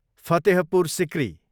Fatehpur Sikri